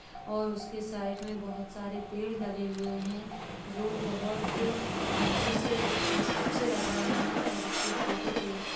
और उसके साइड में बहोत सारे पेड़ लगे हुए हैं जो बहोत अच्छे से अच्छे लग रहे हैं और उसकी फोटो क्लिक --